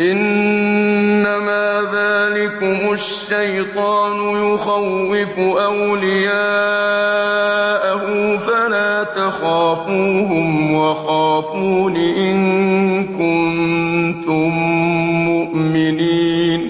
إِنَّمَا ذَٰلِكُمُ الشَّيْطَانُ يُخَوِّفُ أَوْلِيَاءَهُ فَلَا تَخَافُوهُمْ وَخَافُونِ إِن كُنتُم مُّؤْمِنِينَ